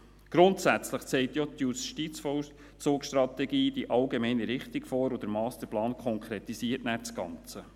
Grundsätzlich zeigt ja die JVS die allgemeine Richtung, und der Masterplan konkretisiert nachher das Ganze.